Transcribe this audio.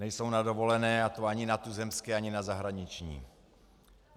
Nejsou na dovolené, a to ani na tuzemské, ani na zahraniční.